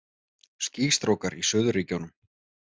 Skýstrókar í Suðurríkjunum